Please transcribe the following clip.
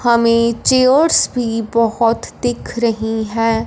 हमें चेयर्स भी बहोत दिख रहीं हैं।